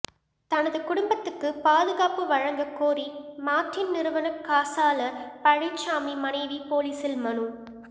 தனது குடும்பத்துக்கு பாதுகாப்பு வழங்கக் கோரி மார்டின் நிறுவன காசாளர் பழனிசாமி மனைவி போலீசில் மனு